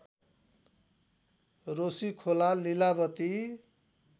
Roshikhola Lilavati